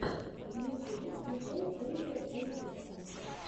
в ютюбе включай фэйза эйпекса